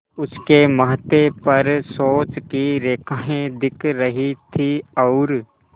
उसके माथे पर सोच की रेखाएँ दिख रही थीं और